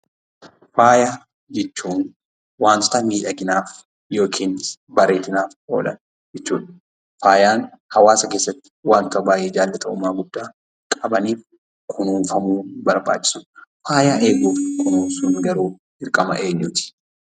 Faaya jechuun wantota miidhaginaaf yookin bareedinaaf oolan jechuudha. Faayan hawaasa keessatti wanta baay'ee jaallatamummaa guddaa qabaniif kunuunfamuu barbaachisudha. Faaya eeguuf kunuunsuun garuu dirqama eenyuuti?